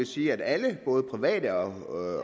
sige at alle både private og